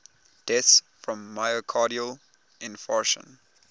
deaths from myocardial infarction